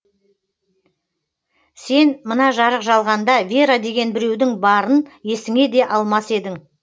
сен мына жарық жалғанда вера деген біреудің барын есіңе де алмас едің